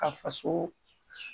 Ka faso